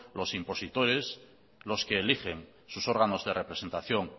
los impositores los que eligen sus órganos de representación